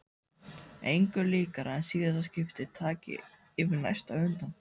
Engu líkara en síðasta skipti taki yfir næsta á undan.